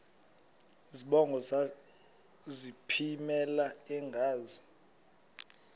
zibongo zazlphllmela engazi